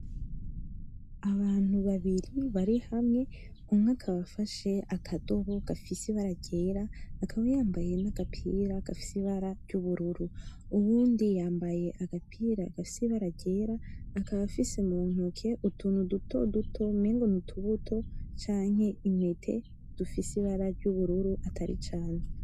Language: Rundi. Abantu babiri bari hamwe umwe akaba afashe akadobo gafise ibara ryera; akaba yambaye n'agapira gafise ibara ry’ubururu, uwundi yambaye agapira gafise ibara ryera, akaba afise mu ntoke utuntu dutoduto umengo n'utubuto canke intete dufise ibara ry’ubururu atari cane.